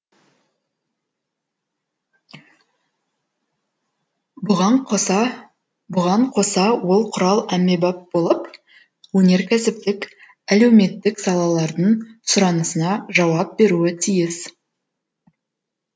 бұған қоса бұған қоса ол құрал әмбебап болып өнеркәсіптік әлеуметтік салалардың сұранысына жауап беруі тиіс